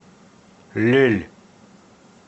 лель